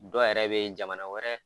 Dɔ yɛrɛ be yen jamana wɛrɛ